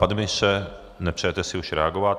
Pane ministře, nepřejete si už reagovat?